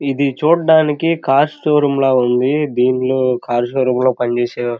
ఇది చూడడానికి car showroom లా ఇది చూడడానికి కార్ షో రూమ్ లా ఉండి దీన్లో షో రూమ్ లో పని చేసి --